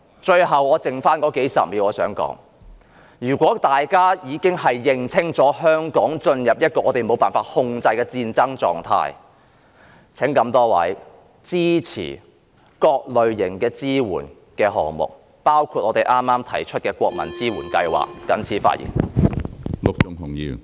最後只餘數十秒，我想說，如果大家認定香港已進入一個無法控制的戰爭狀態，請各位支持各類型的支援項目，包括國民支援計劃。